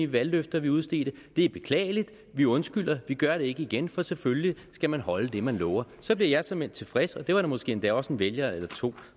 valgløfter vi udstedte det er beklageligt vi undskylder og vi gør det ikke igen for selvfølgelig skal man holde det man lover så bliver jeg såmænd tilfreds og det er der måske endda også en vælger eller to